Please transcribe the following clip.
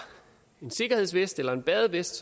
en sikkerhedsvest eller en badevest